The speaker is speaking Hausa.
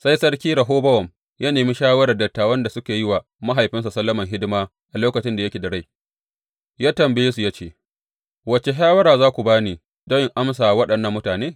Sai Sarki Rehobowam ya nemi shawarar dattawan da suka yi wa mahaifinsa Solomon hidima a lokacin da yake da rai, ya tambaye suya ce, Wace shawara za ku ba ni don in amsa wa waɗannan mutane?